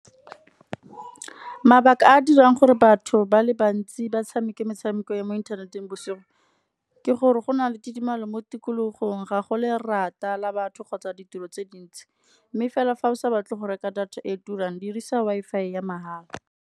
Mabaka a a dirang gore batho ba le bantsi ba tshameke metshameko ya mo inthaneteng bosigo, ke gore go na le tidimalo mo tikologong ga go lerata la batho kgotsa ditiro tse dintsi, mme fela fa o sa batle go reka data e turang dirisa Wi-Fi ya mahala.